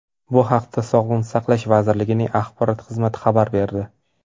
Bu haqda Sog‘liqni saqlash vazirligining axborot xizmati xabar berdi .